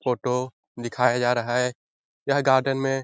photo दिखाया जा रहा है यह गार्डन में --